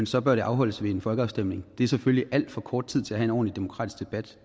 så bør der afholdes en folkeafstemning det er selvfølgelig alt for kort tid til at have en ordentlig demokratisk debat